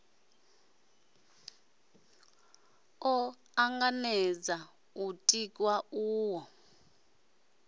o tanganedza u tiwa uho